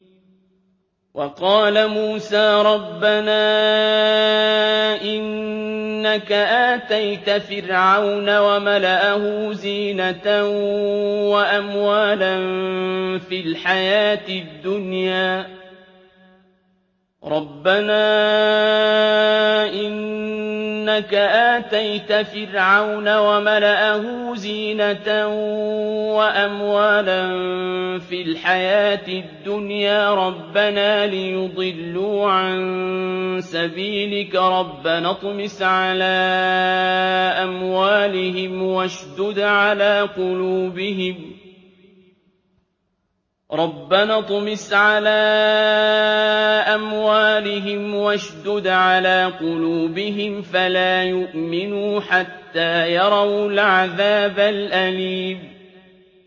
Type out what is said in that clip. وَقَالَ مُوسَىٰ رَبَّنَا إِنَّكَ آتَيْتَ فِرْعَوْنَ وَمَلَأَهُ زِينَةً وَأَمْوَالًا فِي الْحَيَاةِ الدُّنْيَا رَبَّنَا لِيُضِلُّوا عَن سَبِيلِكَ ۖ رَبَّنَا اطْمِسْ عَلَىٰ أَمْوَالِهِمْ وَاشْدُدْ عَلَىٰ قُلُوبِهِمْ فَلَا يُؤْمِنُوا حَتَّىٰ يَرَوُا الْعَذَابَ الْأَلِيمَ